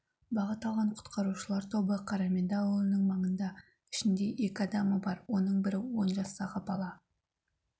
бағы алған құтқарушылар тобы қарамендің ауылының маңында ішінде екі адамы оның бірі он жастағы бала